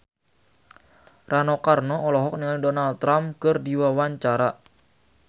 Rano Karno olohok ningali Donald Trump keur diwawancara